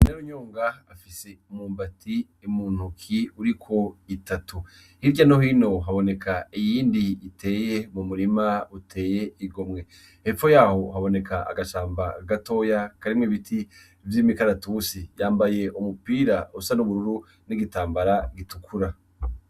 Inarunyonga afise umwumbati m'untoki uriko itatu, hirya no hino haboneka iyindi iteye mu murima uteye igomwe, hepfo yaho haboneka agashamba gatoya karimwo ibiti vy'imikaratusi, yambaye umupira usa n'ubururu n'igitambara gitukura.